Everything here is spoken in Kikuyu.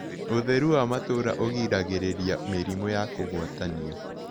Ũtherũ wa matũũra ũgĩragĩrĩrĩa mĩrĩmũ ya kũgwatanĩo